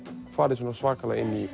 farið svona svakalega inn í